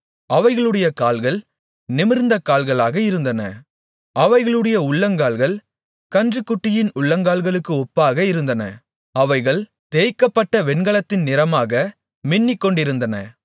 அவைகளுடைய கால்கள் நிமிர்ந்த கால்களாக இருந்தன அவைகளுடைய உள்ளங்கால்கள் கன்றுக்குட்டியின் உள்ளங்கால்களுக்கு ஒப்பாக இருந்தன அவைகள் தேய்க்கப்பட்ட வெண்கலத்தின் நிறமாக மின்னிக்கொண்டிருந்தன